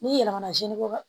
N'i yɛlɛmana sinikɔ